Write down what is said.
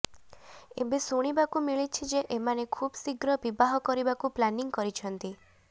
ଏବେ ଶୁଣିବାକୁ ମିଳିଛି ଯେ ଏମାନେ ଖୁବ୍ ଶୀଘ୍ର ବିବାହ କରିବାକୁ ପ୍ଲାନିଂ କରିଛନ୍ତି